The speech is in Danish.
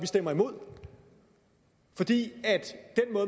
stemmer imod fordi